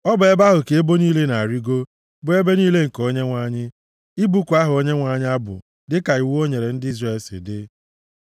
Ọ bụ ebe ahụ ka ebo niile na-arịgo, bụ ebo niile nke Onyenwe anyị, ịbụku aha Onyenwe anyị abụ dịka iwu o nyere ndị Izrel si dị.